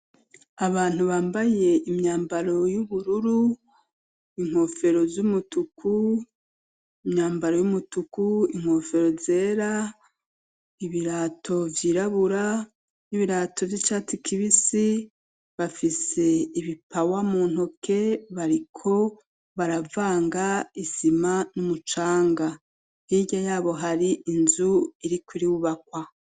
Abantu bambaye imyambaro y'ubururu inkwofero z'umutuku imyambaro y'umutuku inkwofero zera ibirato vyirabura n'ibirato vy'icati kibisi bafise ibipawa mu ntoke bariko barava anga isima n'umucanga tirya yabo hari inzu iri kuri bubakwa.